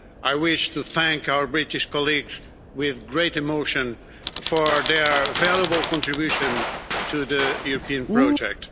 I wish to thank our British colleagues with great emotion for their valuable contribution to the European project.